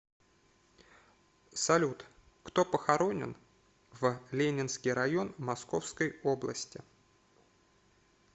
салют кто похоронен в ленинский район московской области